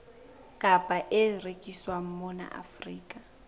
kapa e rekiswang mona afrika